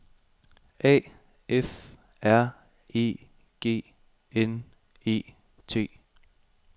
A F R E G N E T